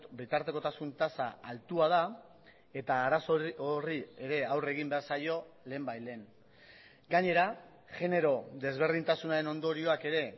bitartekotasun tasa altua da eta arazo horri ere aurre egin behar zaio lehenbailehen gainera genero desberdintasunaren ondorioak ere